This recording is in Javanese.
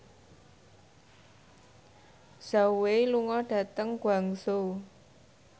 Zhao Wei lunga dhateng Guangzhou